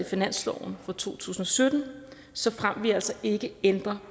finansloven for to tusind og sytten såfremt vi altså ikke ændrer